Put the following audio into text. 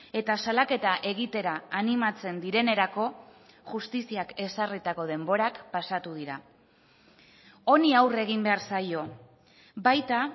eta salaketa egitera animatzen direnerako justiziak ezarritako denborak pasatu dira honi aurre egin behar zaio baita